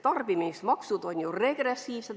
Tarbimismaksud on ju regressiivsed.